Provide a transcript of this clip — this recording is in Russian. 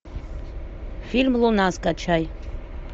фильм луна скачай